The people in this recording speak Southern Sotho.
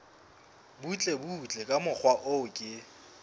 butlebutle ka mokgwa o ke